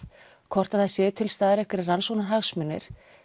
hvort það séu til staðar einhverjir rannsóknarhagsmunir